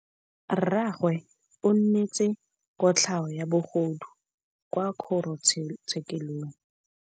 Rragwe o neetswe kotlhaô ya bogodu kwa kgoro tshêkêlông.